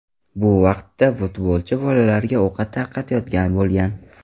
Bu vaqtda futbolchi bolalarga ovqat tarqatayotgan bo‘lgan.